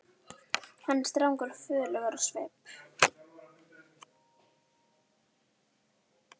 Hann er strangur og föður legur á svip.